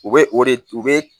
U bɛ o de u bɛ